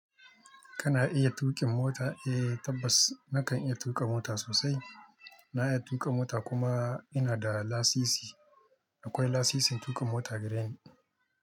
Kana iya tuƙin mota? Eh tabbas na kan iya tuƙa mota sosai. Na iya tuƙa mota kuma ina da lasisi. Akwai lasisin tuƙa mota a gareni.